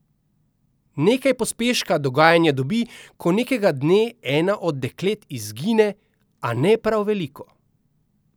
Nekaj pospeška dogajanje dobi, ko nekega dne ena od deklet izgine, a ne prav veliko.